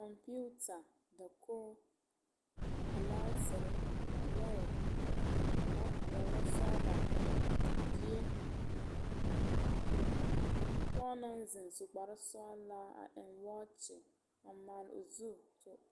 Pͻge naŋ zeŋe su kpare sͻgelaa a eŋ wͻͻkye, a maale o zu, kͻmpiita dakogi, gilaasere, lͻԑ, lͻzeԑ, lͻsͻgelͻ, die.